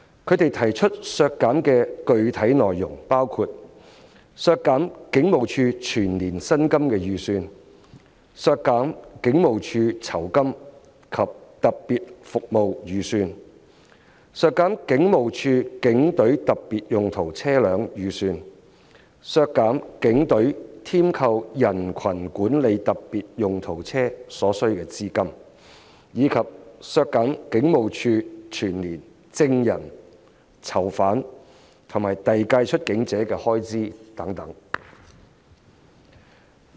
他們提出削減的具體內容包括：削減警務處全年運作的預算開支、削減警務處酬金及特別服務全年撥款、削減警務處警隊特別用途車輛預算開支、削減警隊添購人群管理特別用途車所需的資金，以及削減警務處全年證人、囚犯及遞解出境者的預算開支等。